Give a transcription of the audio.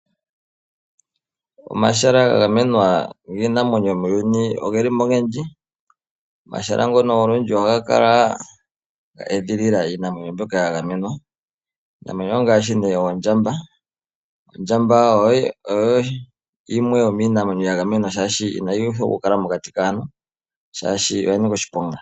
Omahala gagamenwa giinamwenyo muuyuni oge li mo ogendji. Omahala ngono olundji ohaga kala e geedhilila iinamwenyo mbyono olundji . Iinamwenyo mbyono ongaashi ondjamba. Ondjamba oyo yomiinamwenyo yili yagamenwa shaashi inayi uthwa okukala mokati kaantu shaashi oya nika oshiponga .